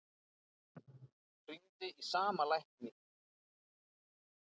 Hringdi í sama lækni